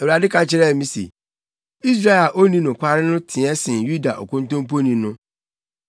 Awurade ka kyerɛɛ me se, “Israel a onni nokware no teɛ sen Yuda okontomponi no.